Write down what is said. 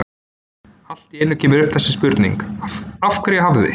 Og allt í einu kemur upp þessi spurning: Af hverju hafði